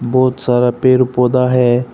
बहुत सारा पेड़ पौधा है।